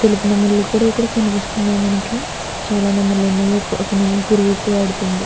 తెలుపు నెమల్లు కూడా కనిపిస్తున్నాయి ఇక్కడ మనకి. చాలా నెమ్మలు ఉన్నాయ్. ఒక నెమలి కురువిప్పి ఆడుతుంది.